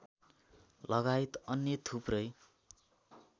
लगायत अन्य थुप्रै